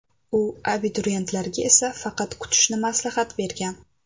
U abituriyentlarga esa faqat kutishni maslahat bergan.